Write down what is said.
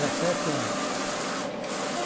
anos. E como